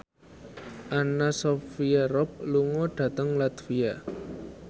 Anna Sophia Robb lunga dhateng latvia